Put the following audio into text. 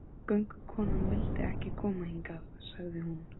Göngukonan vildi ekki koma hingað, sagði hún.